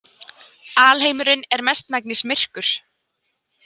Alheimurinn er mestmegnis myrkur.